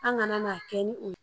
An ŋana kɛ ni o